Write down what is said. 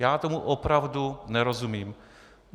Já tomu opravdu nerozumím.